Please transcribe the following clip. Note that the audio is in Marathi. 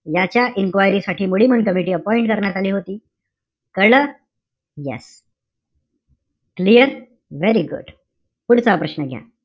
याच्या enquiry साठी मुडीमन कमिटी appoint करण्यात आली होती. कळलं? Yes. clear? Very good. पुढचा प्रश्न घ्या.